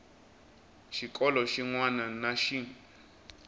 xikolo xin wana na xin